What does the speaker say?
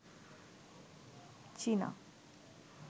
চীনা